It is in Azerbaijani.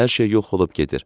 Hər şey yox olub gedir.